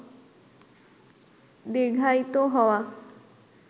দীর্ঘায়িত হওয়া